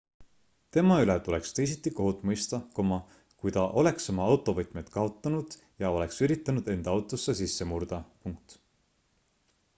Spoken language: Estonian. tema üle tuleks teisiti kohut mõista kui ta oleks oma autovõtmed kaotanud ja oleks üritanud enda autosse sisse murda